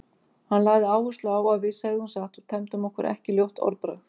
Hann lagði áherslu á að við segðum satt og temdum okkur ekki ljótt orðbragð.